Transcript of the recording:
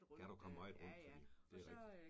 Kan du komme meget rundt det rigtigt